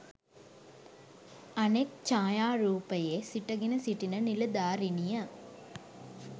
අනෙක් ජායාරූපයේ සිටගෙන සිටින නිලධාරිනිය